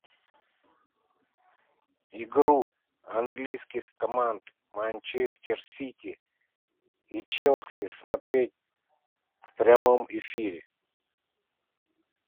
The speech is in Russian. игру английских команд манчестер сити и челси смотреть в прямом эфире